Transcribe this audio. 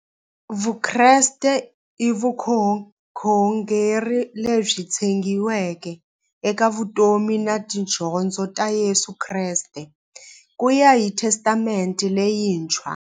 Vukreste i vukhongeri lebyi tshegiweke eka vutomi na tidyondzo ta Yesu Kreste kuya hi Testamente leyintshwa.